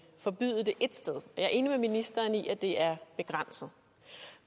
forbyde det ét sted jeg er enig med ministeren i at det er begrænset